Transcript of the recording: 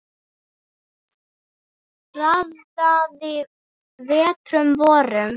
Raðaði vetrum vorum